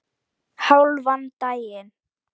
Hálfan daginn.